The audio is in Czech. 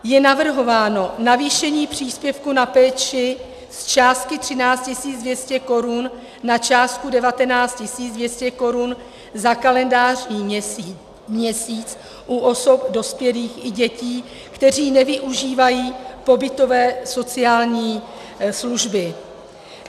Je navrhováno navýšení příspěvku na péči z částky 13 200 korun na částku 19 200 korun za kalendářní měsíc u osob dospělých i dětí, kteří nevyužívají pobytové sociální služby.